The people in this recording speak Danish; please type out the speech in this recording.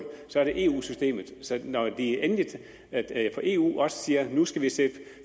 så er det eu systemet så når de endelig fra eu også siger at vi nu skal sætte